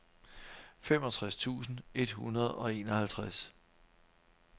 femogtres tusind et hundrede og enoghalvtreds